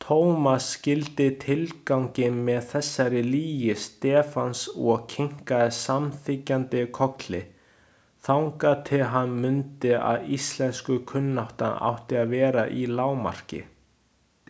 Thomas skildi tilganginn með þessari lygi Stefáns og kinkaði samþykkjandi kolli, þangað til hann mundi að íslenskukunnáttan átti að vera í lágmarki.